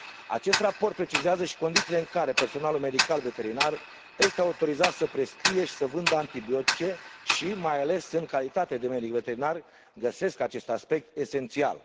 Acest raport precizează și condițiile în care personalul medical veterinar este autorizat să prescrie și să vândă antibiotice și, mai ales, în calitate de medic veterinar, găsesc acest aspect esențial.